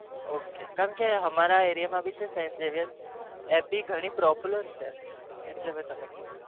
Okay કારણ કે ત્યારે મી તમને કીધું